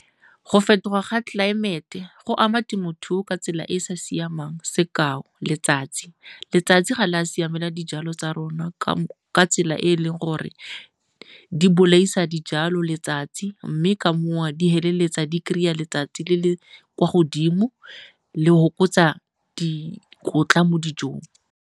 Go fetoga ga tlelaemete go ama temothuo ka tsela e e sa siamang. Sekao letsatsi, letsatsi ga le a siamela dijalo tsa rona ka tsela e e leng gore di bolaisa dijalo letsatsi mme ka moo di feleletsa di kry-a letsatsi le le kwa godimo le go fokotsa dikotla mo dijong.